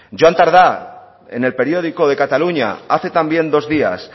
joan tardá en el periódico de cataluña hace también dos días